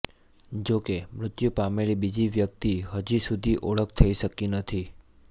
જોકે મૃત્યુ પામેલી બીજી વ્યક્તિ હજુસુધી ઓળખ થઈ શકી નથી